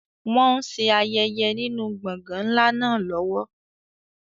Wọn ṣe ayẹyẹ nínú gbọ̀ngàn ńlá náà lọ́wọ́.